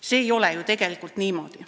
See ei ole ju tegelikult niimoodi.